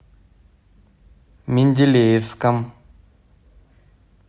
менделеевском